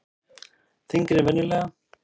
Þyngri en venjulega.